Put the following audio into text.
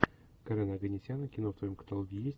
карена оганесяна кино в твоем каталоге есть